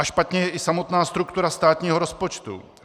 A špatně je i samotná struktura státního rozpočtu.